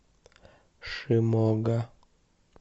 шимога